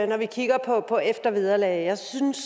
når vi kigger på eftervederlag jeg synes